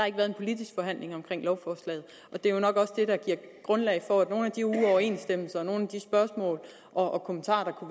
ikke været politisk forhandling om lovforslaget og det er jo nok også det der giver grundlag for at nogle af de uoverensstemmelser og nogle af de spørgsmål og kommentarer